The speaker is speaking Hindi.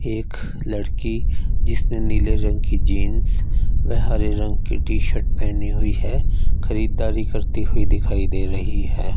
एक लड़की जिसने नीले रंग की जींस वे हरे रंग की टी शर्ट पेहनी हुई है खरीददारी करती हुई दिखाई दे रही है।